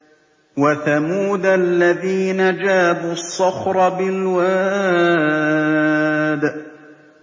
وَثَمُودَ الَّذِينَ جَابُوا الصَّخْرَ بِالْوَادِ